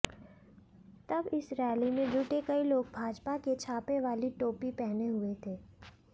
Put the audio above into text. तब इस रैली में जुटे कई लोग भाजपा के छापे वाली टोपी पहने हुए थे